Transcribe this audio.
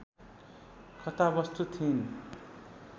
कथावस्तु थिइन्